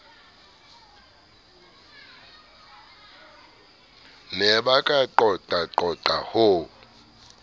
ne ba ka qoqaqoqa ho